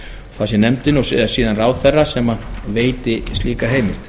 það sé nefndin og síðan ráðherra sem veiti slíka heimild